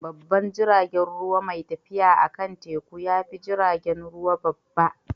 Babban jiragen ruwa mai tafiya akan teku ya fi jiragen ruwa babba.